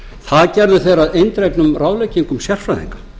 það gerðu aðrir að eindregnum ráðleggingum sérfræðinga